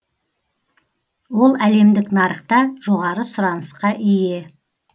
ол әлемдік нарықта жоғары сұранысқа ие